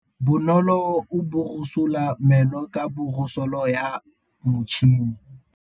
Bonolô o borosola meno ka borosolo ya motšhine.